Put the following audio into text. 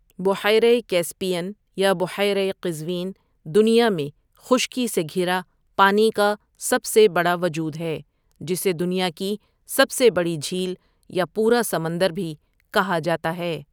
بحیرہ کیسپیئن یا بحیرہ قزوین دنیا میں خشکی سے گھرا پانی کا سب سے بڑا وجود ہے جسے دنیا کی سب سے بڑی جھیل یا پورا سمندر بھی کہا جاتا ہے ۔